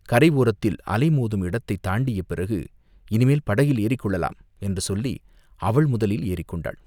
கரை ஓரத்தில் அலை மோதும் இடத்தைக் தாண்டிய பிறகு "இனிமேல் படகில் ஏறிக்கொள்ளலாம்!" என்று சொல்லி, அவள் முதலில் ஏறிக் கொண்டாள்.